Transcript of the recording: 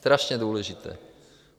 Strašně důležité.